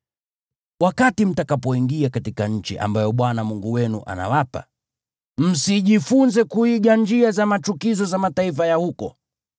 Wakati mtakapoingia katika nchi ambayo Bwana Mungu wenu anawapa, msijifunze kuiga njia za machukizo za mataifa ya huko.